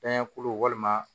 Danya kulu walima